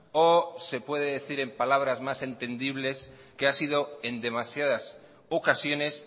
o se puede decir en palabras más entendibles que ha sido en demasiadas ocasiones